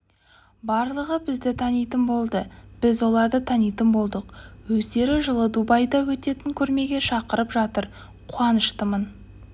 барлығы бізді танитын болды біз оларды танитын болдық өздері жылы дубайда өтетін көрмеге шақырып жатыр қуаныштымын